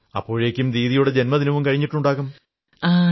അപ്പോഴേക്കും ദീദിയുടെ ജന്മദിനം കഴിഞ്ഞിട്ടുണ്ടാകും